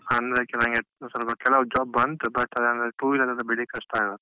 ಅಂದ್ರೆ actually ನಂಗೆ ಸ್ವಲ್ಪ ಕೆಲವ್ job ಬಂತು, but ಅದಂದ್ರೆ two wheeler ಎಲ್ಲ ಬಿಡ್ಲಿಕ್ಕೆ ಕಷ್ಟ ಅಲ್ಲಾ.